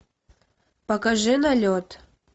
покажи налет